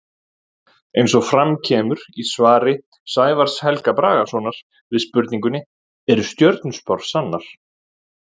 Eins og fram kemur í svari Sævars Helga Bragasonar við spurningunni Eru stjörnuspár sannar?